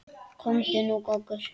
Komdu nú goggur!